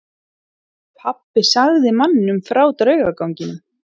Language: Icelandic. Pabbi sagði manninum frá draugaganginum.